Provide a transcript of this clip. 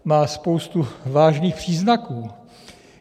Má spoustu vážných příznaků.